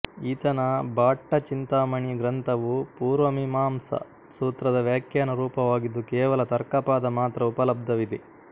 ಈತನ ಭಾಟ್ಟಚಿಂತಾಮಣಿ ಗ್ರಂಥವು ಪೂರ್ವಮೀಮಾಂಸಾ ಸೂತ್ರದ ವ್ಯಾಖ್ಯಾನ ರೂಪವಾಗಿದ್ದು ಕೇವಲ ತರ್ಕಪಾದ ಮಾತ್ರ ಉಪಲಬ್ಧವಿದೆ